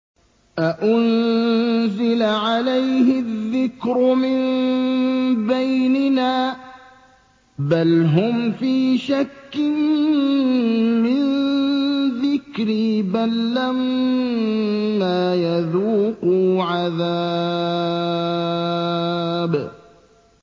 أَأُنزِلَ عَلَيْهِ الذِّكْرُ مِن بَيْنِنَا ۚ بَلْ هُمْ فِي شَكٍّ مِّن ذِكْرِي ۖ بَل لَّمَّا يَذُوقُوا عَذَابِ